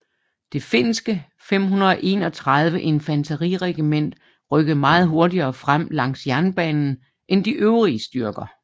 Det finske 531 infanteriregiment rykkede meget hurtigere frem langs jernbanen end de øvrige styrker